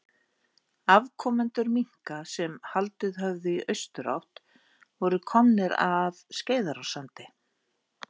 Afkomendur minka sem haldið höfðu í austurátt voru komnir að Skeiðarársandi.